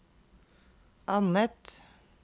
annet